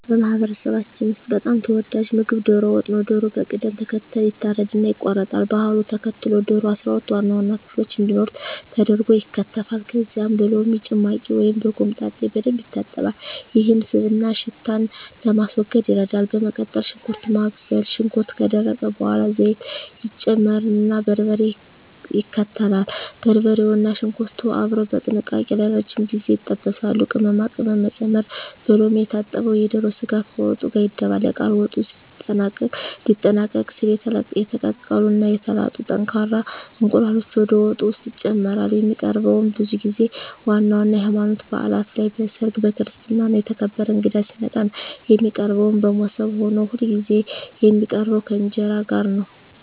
በማህበረሰባችን ውስጥ በጣም ተወዳጁ ምግብ ዶሮ ወጥ ነው። ዶሮው በቅደም ተከተል ይታረድና ይቆረጣል። ባህሉን ተከትሎ ዶሮው 12 ዋና ዋና ክፍሎች እንዲኖሩት ተደርጎ ይከተፋል። ከዚያም በሎሚ ጭማቂ ወይም በኮምጣጤ በደንብ ይታጠባል፤ ይህም ስብንና ሽታን ለማስወገድ ይረዳል። በመቀጠል ሽንኩርት ማብሰል፣ ሽንኩርቱ ከደረቀ በኋላ ዘይት ይጨመርና በርበሬ ይከተላል። በርበሬውና ሽንኩርቱ አብረው በጥንቃቄ ለረጅም ጊዜ ይጠበሳሉ። ቅመማ ቅመም መጨመር፣ በሎሚ የታጠበው የዶሮ ስጋ ከወጡ ጋር ይደባለቃል። ወጡ ሊጠናቀቅ ሲል የተቀቀሉ እና የተላጡ ጠንካራ እንቁላሎች ወደ ወጡ ውስጥ ይጨመራሉ። የሚቀርበውም ብዙ ጊዜ ዋና ዋና የሀይማኖታዊ ባእላት ላይ፣ በሰርግ፣ በክርስትና እና የተከበረ እንግዳ ሲመጣ ነው። የሚቀርበውም በሞሰብ ሆኖ ሁልጊዜ የሚቀርበው ከእንጀራ ጋር ነው።